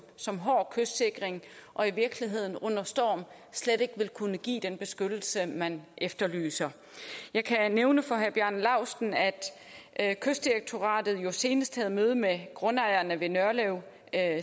som hård kystsikring og i virkeligheden under storm slet ikke vil kunne give den beskyttelse man efterlyser jeg kan nævne for herre bjarne laustsen at at kystdirektoratet senest havde møde med grundejerne ved nørlev